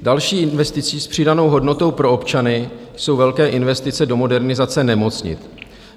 Další investicí s přidanou hodnotou pro občany jsou velké investice do modernizace nemocnic.